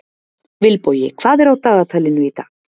Vilbogi, hvað er á dagatalinu í dag?